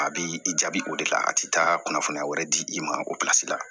A bi i jaabi o de la a ti taa kunnafoniya wɛrɛ di i ma opilasi la